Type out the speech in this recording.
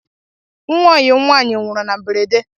Nwa oyim nwanyị nwụrụ na mberede